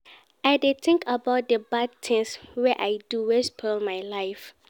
I dey tink about di bad tins wey I do wey spoil my life.